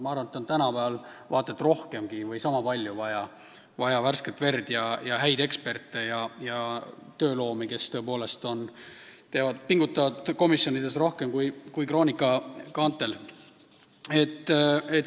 Ma arvan, et tänapäeval on vaata et rohkemgi või vähemalt sama palju vaja värsket verd, häid eksperte ja tööloomi, kes tõepoolest pingutavad komisjonides rohkem kui Kroonika kaantel poseerides.